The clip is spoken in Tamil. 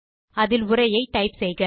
அதில் உரையை டைப் செய்க